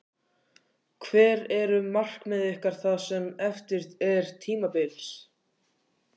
Hver eru markmið ykkar það sem eftir er tímabils?